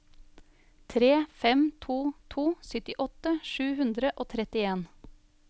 tre fem to to syttiåtte sju hundre og trettien